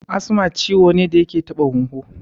Asma ciwo ne da yake taɓa huhu